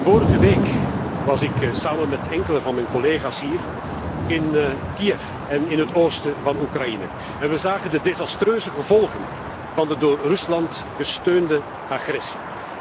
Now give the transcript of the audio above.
Vorige week was ik samen met enkele van mijn collega's hier in Kiev en in het oosten van Oekraïne. We zagen de desastreuse gevolgen van de door Rusland gesteunde agressie.